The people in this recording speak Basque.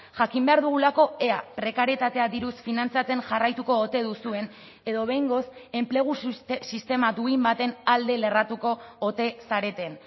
jakin behar dugulako ea prekarietatea diruz finantzatzen jarraituko ote duzuen edo behingoz enplegu sistema duin baten alde lerratuko ote zareten